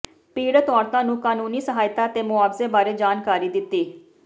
ਪੀੜਤ ਔਰਤਾਂ ਨੂੰ ਕਾਨੂੰਨੀ ਸਹਾਇਤਾ ਤੇ ਮੁਆਵਜ਼ੇ ਬਾਰੇ ਜਾਣਕਾਰੀ ਦਿੱਤੀ